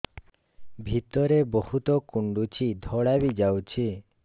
ଭିତରେ ବହୁତ କୁଣ୍ଡୁଚି ଧଳା ବି ଯାଉଛି